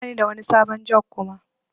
Bani da wani sabon jug Kuma.